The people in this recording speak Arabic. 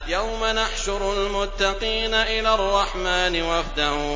يَوْمَ نَحْشُرُ الْمُتَّقِينَ إِلَى الرَّحْمَٰنِ وَفْدًا